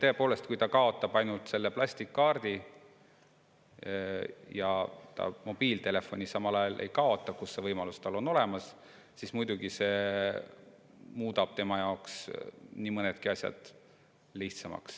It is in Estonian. Tõepoolest, kui ta kaotab ainult selle plastkaardi ja mobiiltelefoni samal ajal ei kaota, siis seal, kus see võimalus on olemas, muudab see muidugi tema jaoks nii mõnedki asjad lihtsamaks.